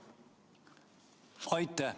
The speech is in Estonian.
Aitäh!